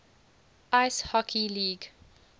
ice hockey league